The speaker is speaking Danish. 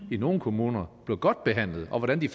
i nogle kommuner blev godt behandlet og hvordan de